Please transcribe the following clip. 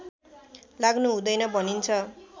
लाग्नु हुँदैन भनिन्छ